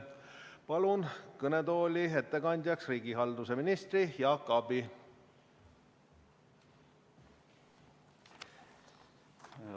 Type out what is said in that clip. Palun ettekandjaks riigihalduse ministri Jaak Aabi!